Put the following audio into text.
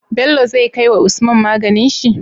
Bello zai kai wa usman maganin shi?